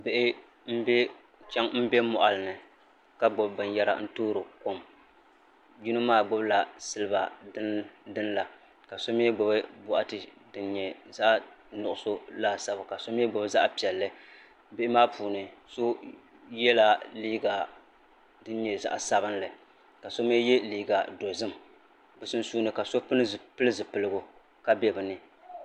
Bihi n bɛ moɣali ni ka gbubi binyɛra n toori kom yino maa gbubila silba dini la ka so mii gbubi boɣati din nyɛ zaɣ nuɣso laasabu ka so mii gbubi zaɣ piɛlli bihi maa puuni so yɛla liiga din nyɛ zaɣ sabinli ka so mii yɛ liiga dozim bi sunsuuni ka so pili zipiligu ka bɛ bi ni